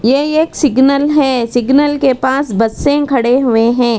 यह एक सिग्नल है सिग्नल के पास बसें खड़े हुए हैं।